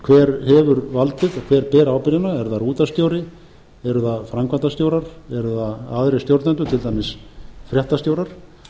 hefur valdið og hver ber ábyrgðina er það útvarpsstjóri eru það framkvæmdastjórar eru það aðrir stjórnendur til dæmis fréttastjórar